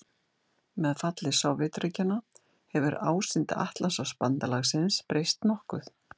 Með falli Sovétríkjanna hefur ásýnd Atlantshafsbandalagsins breyst nokkuð.